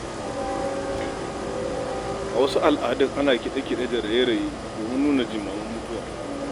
A wasu al'adun ana kiɗe-kiɗe da raye-raye domin nuna jimamin mutuwa.